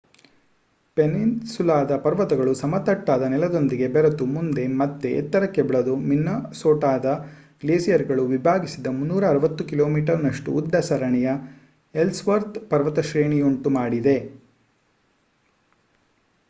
ಪೆನ್ನಿನ್‌ಸುಲಾದ ಪರ್ವತಗಳು ಸಮತಟ್ಟಾದ ನೆಲದೊಂದಿಗೆ ಬೆರೆತು ಮುಂದೆ ಮತ್ತೆ ಎತ್ತರಕ್ಕೆ ಬೆಳೆದು ಮಿನ್ನಸೋಟಾದ ಗ್ಲೇಸಿಯರ್‌ಗಳು ವಿಭಾಗಿಸಿದ 360 ಕಿಮೀನಷ್ಟು ಉದ್ದದ ಸರಣಿಯ ಎಲ್ಸ್‌ವರ್ಥ್ ಪರ್ವತ ಶ್ರೇಣಿಯುಂಟು ಮಾಡಿದೆ